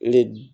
Li